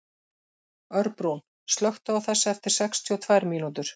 Örbrún, slökktu á þessu eftir sextíu og tvær mínútur.